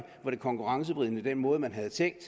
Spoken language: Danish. var konkurrenceforvridende at den måde man havde tænkt